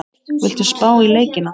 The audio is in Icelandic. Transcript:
Viltu spá í leikina?